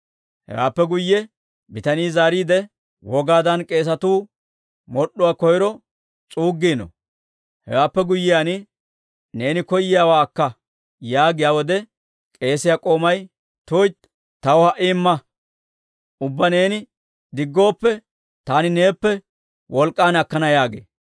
Hewaappe guyye bitanii zaariide, «Wogaadan k'eesatuu mod'd'uwaa koyro s'uuggino; hewaappe guyyiyaan, neeni koyiyaawaa akka» yaagiyaa wode k'eesiyaa k'oomay, «tuytti; taw ha"i imma; ubbaa neeni diggooppe, taani neeppe wolk'k'an akkana» yaagee.